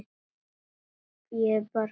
Músík er bara músík.